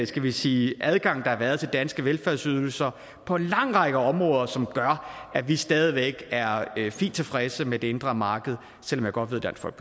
skal vi sige adgang der har været til danske velfærdsydelser på en lang række områder som gør at vi stadig væk er fint tilfredse med det indre marked selv om jeg godt